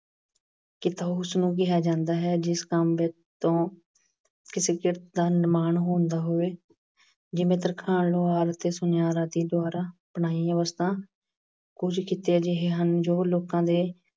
ਕਿੱਤਾ ਉਸ ਨੂੰ ਕਿਹਾ ਜਾਂਦਾ ਹੈ ਜਿਸ ਕੰਮ ਅਹ ਤੋਂ ਕਿਸੇ ਕਿਰਤ ਦਾ ਨਿਰਮਾਣ ਹੁੰਦਾ ਹੋਵੇ। ਜਿਵੇਂ ਤਰਖਾਣ, ਲੁਹਾਰ ਅਤੇ ਸੁਨਿਆਰ ਆਦਿ ਦੁਆਰਾ ਬਣਾਈਆਂ ਵਸਤਾਂ। ਕੁਝ ਕਿੱਤੇ ਅਜਿਹੇ ਹਨ ਜੋ ਲੋਕਾਂ ਦੇ